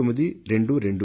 ఆ నంబర్ 1922